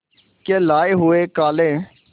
के लाए हुए काले